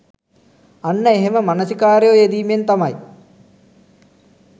අන්න එහෙම මනසිකාරයේ යෙදීමෙන් තමයි